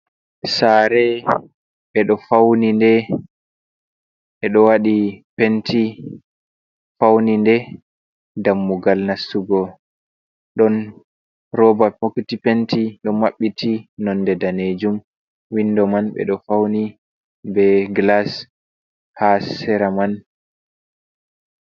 Sare ɓeɗo fauninde, ɓeɗo waɗi penty fauninde, dammugal nastugo ɗon roba bokiti penty ɗo maɓɓiti nonde danejum, windo man ɓeɗo fauni be glas ha sera man.